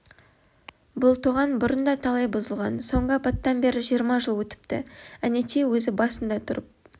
бұл тоған бұрын да талай бұзылған соңғы апаттан бері жиырма жыл өтіпті әнетей өзі басында тұрып